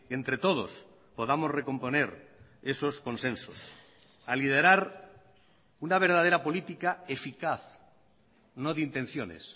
entre todos podamos recomponer esos consensos a liderar una verdadera política eficaz no de intenciones